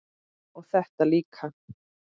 og þetta líka